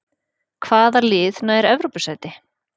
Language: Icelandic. Hvaða lið nær Evrópusæti?